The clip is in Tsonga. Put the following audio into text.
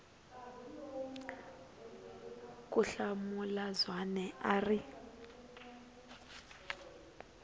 ku hlamula zwane a ri